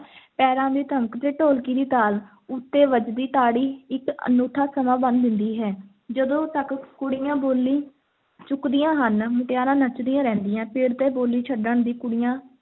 ਪੈਰਾਂ ਦੀ ਧਮਕ ਤੇ ਢੋਲਕੀ ਦੀ ਤਾਲ ਉੱਤੇ ਵੱਜਦੀ ਤਾੜੀ ਇੱਕ ਅਨੂਠਾ ਸਮਾਂ ਬੰਨ੍ਹ ਦਿੰਦੀ ਹੈ l ਜਦੋਂ ਤੱਕ ਕੁੜੀਆਂ ਬੋਲੀ ਚੁੱਕਦੀਆਂ ਹਨ, ਮੁਟਿਆਰਾਂ ਨੱਚਦੀਆਂ ਰਹਿੰਦੀਆਂ, ਪਿੜ ਤੇ ਬੋਲੀ ਛੱਡਣ ਦੀ ਕੁੜੀਆਂ